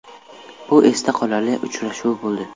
Bu esda qolarli uchrashuv bo‘ldi.